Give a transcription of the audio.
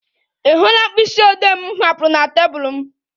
Ị hụla mkpịsị odee m hapụrụ na tebụl m?